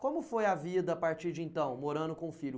Como foi a vida a partir de então, morando com o filho?